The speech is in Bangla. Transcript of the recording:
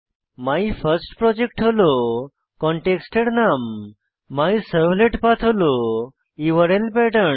মাইফার্স্টপ্রজেক্ট হল কনটেক্সটের নাম এবং মাইসার্ভলেটপাঠ হল ইউআরএল প্যাটার্ন